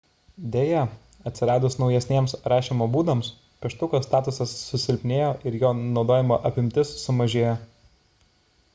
deja atsiradus naujesniems rašymo būdams pieštuko statusas susilpnėjo ir jo naudojimo apimtis sumažėjo